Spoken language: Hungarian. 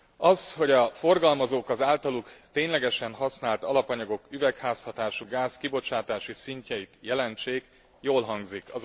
Az, hogy a forgalmazók az általuk ténylegesen használt alapanyagok üvegházhatásúgáz kibocsátási szintjeit jelentsék, jól hangzik.